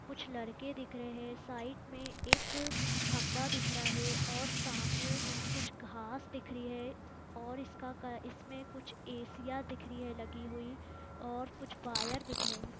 कुछ लड़के दिख रहे हैं साइक में एक खंभा दिख रहा है और सामने कुछ घास दिख रही है और इसका इसमें कुछ एसिया दिख रही है लगी हुई और कुछ वायर दिख रहे हैं।